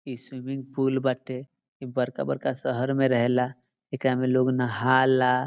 इ swimming pool बाटे इ बड़का-बड़का शहर में रहेला एकरा में लोग नहाला।